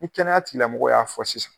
Ni kɛnɛya tigilamɔgɔw y'a fɔ sisan.